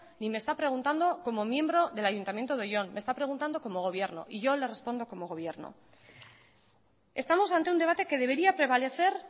ni me está preguntando como miembro del ayuntamiento de oion me está preguntando como gobierno y yo le respondo como gobierno estamos ante un debate que debería prevalecer